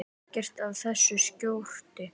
Ekkert af þessu skorti.